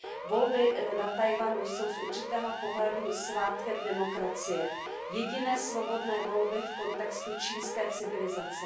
Volby na Tchaj wanu jsou z určitého pohledu svátkem demokracie. Jediné svobodné volby v kontextu čínské civilizace.